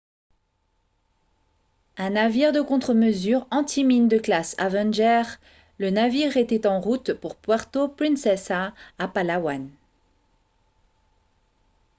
un navire de contre-mesures anti-mines de classe avenger le navire était en route pour puerto princesa à palawan